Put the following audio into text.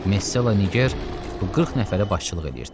Mesalla Niger bu 40 nəfərə başçılıq edirdi.